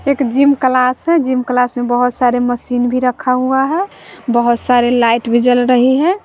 एक gym classes gym class में बहोत सारे मशीन भी रखा हुआ है। बहोत सारे लाइट भी जल रही है।